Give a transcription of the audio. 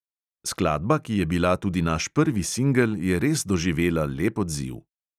Skladba, ki je bila tudi naš prvi singel, je res doživela lep odziv.